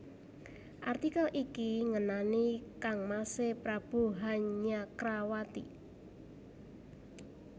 Artikel iki ngenani kangmasé Prabu Hanyakrawati